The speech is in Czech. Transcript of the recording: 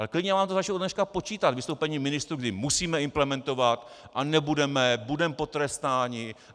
Ale klidně vám to začnu ode dneška počítat, vystoupení ministrů, kdy musíme implementovat a nebudeme, budeme potrestáni.